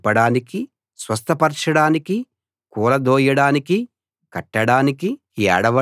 చంపడానికీ స్వస్థపరచడానికీ కూలదోయడానికీ కట్టడానికీ